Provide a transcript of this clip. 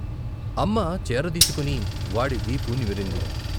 అమ్మ చేరదీసుకుని వాడి వీపు నిమిరింది.